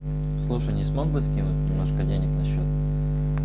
слушай не смог бы скинуть немножко денег на счет